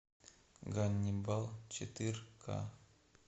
ганнибал четыре ка